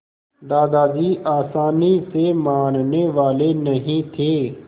दादाजी आसानी से मानने वाले नहीं थे